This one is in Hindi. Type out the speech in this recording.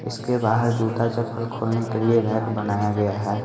इसके बाहर जूता चप्पल खोलने के लिए रैक बनाया गया है।